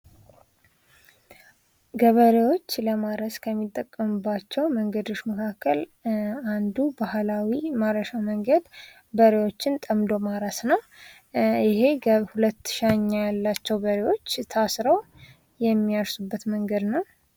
ገበሬዎች ለማረስ ከሚጠቀሙባቸው መንገዶች መካከል አንዱ ባህላዊ ማረሻ መንገድ በሬዎችን ጠምዶ ማረስ ነው 2ሻኛ ያላቸው በሬዎች የሚያርሱበት መንገድ ነው።